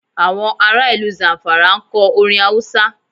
Àwọn ará ìlú Zamfara ń kọ orin Hausa.